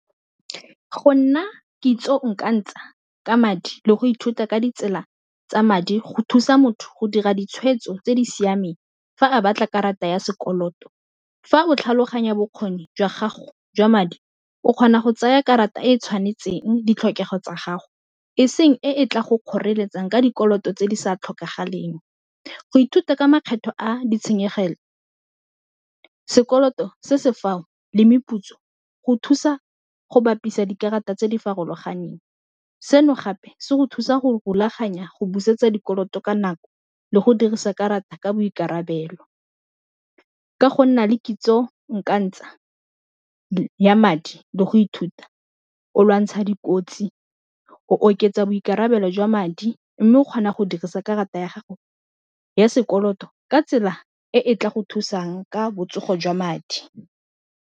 Go nna kitso o ka ntsha ka madi le go ithuta ka ditsela tsa madi go thusa motho go dira ditshwetso tse di siameng, fa a batla karata ya sekoloto fa o tlhaloganya bokgoni jwa gago jwa madi o kgona go tsaya karata e tshwanetseng ditlhokego tsa gago e seng e e tla go kgoreletsang ka dikoloto tse di sa tlhokagaleng, go ithuta ka makgetlho a ditshenyegelo sekoloto se se fao le meputso go thusa go bapisa dikarata tse di farologaneng, seno gape se go thusa go rulaganya go busetsa dikoloto ka nako le go dirisa karata ka boikarabelo, ka go nna le kitso o ka ntsha ya madi le go ithuta o lwantsha dikotsi o oketsa boikarabelo jwa madi, mme o kgona go dirisa karata ya gago ya sekoloto ka tsela e e tla go thusang ka botsogo jwa madi.